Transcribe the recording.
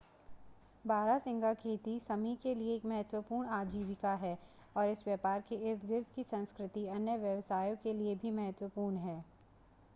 बारहसिंगा खेती समी के लिए एक महत्वपूर्ण आजीविका है और इस व्यापार के इर्दगिर्द की संस्कृति अन्य व्यवसायों के लिए भी महत्वपूर्ण है